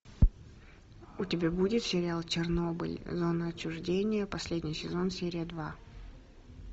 у тебя будет сериал чернобыль зона отчуждения последний сезон серия два